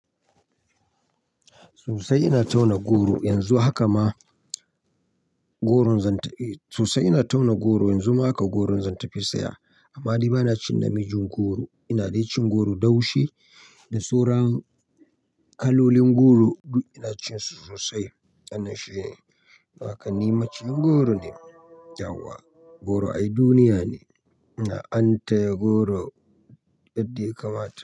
Sosai ina tauna goro yanzu haka ma goron zan ta-- sosai ina tauna goro yanzu ma haka goron zan tafi saya. Amma dai ba na cin namijin goro, ina dai cin goro daushe da sauran kalolin goro duk ina cin su sosai. Wannan shi ne, don haka ni maciyin goro ne. Yawwa goro ai duniya ne, ina an taya goro yadda ya kamata.